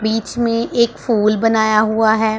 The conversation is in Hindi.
बीच में एक फूल बनाया हुआ हैं।